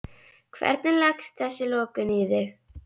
Hvernig leggst þessi lokun í þig?